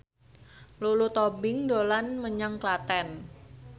Lulu Tobing dolan menyang Klaten